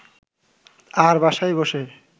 আর বাসায় বসে